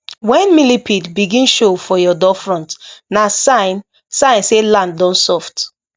when millipede begin show for your doorfront na sign sign say land don soft